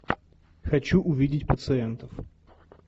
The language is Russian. хочу увидеть пациентов